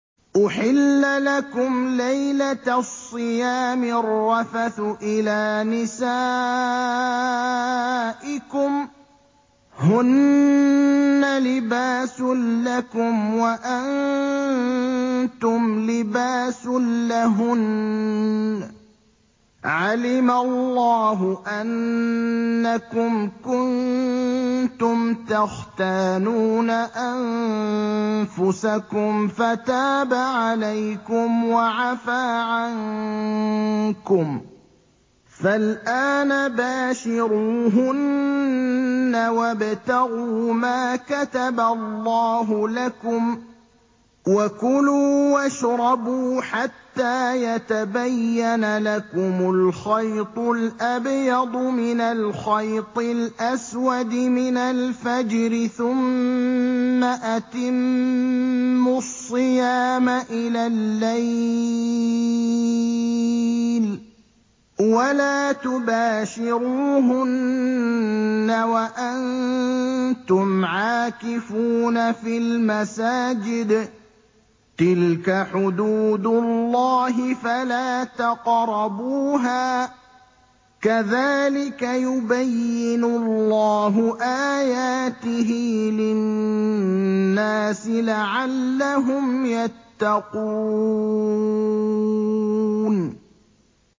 أُحِلَّ لَكُمْ لَيْلَةَ الصِّيَامِ الرَّفَثُ إِلَىٰ نِسَائِكُمْ ۚ هُنَّ لِبَاسٌ لَّكُمْ وَأَنتُمْ لِبَاسٌ لَّهُنَّ ۗ عَلِمَ اللَّهُ أَنَّكُمْ كُنتُمْ تَخْتَانُونَ أَنفُسَكُمْ فَتَابَ عَلَيْكُمْ وَعَفَا عَنكُمْ ۖ فَالْآنَ بَاشِرُوهُنَّ وَابْتَغُوا مَا كَتَبَ اللَّهُ لَكُمْ ۚ وَكُلُوا وَاشْرَبُوا حَتَّىٰ يَتَبَيَّنَ لَكُمُ الْخَيْطُ الْأَبْيَضُ مِنَ الْخَيْطِ الْأَسْوَدِ مِنَ الْفَجْرِ ۖ ثُمَّ أَتِمُّوا الصِّيَامَ إِلَى اللَّيْلِ ۚ وَلَا تُبَاشِرُوهُنَّ وَأَنتُمْ عَاكِفُونَ فِي الْمَسَاجِدِ ۗ تِلْكَ حُدُودُ اللَّهِ فَلَا تَقْرَبُوهَا ۗ كَذَٰلِكَ يُبَيِّنُ اللَّهُ آيَاتِهِ لِلنَّاسِ لَعَلَّهُمْ يَتَّقُونَ